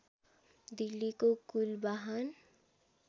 दिल्लीको कुल बाहन